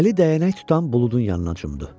Əli dəyənək tutan Buludun yanına cümdü.